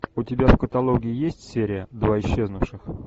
у тебя в каталоге есть серия два исчезнувших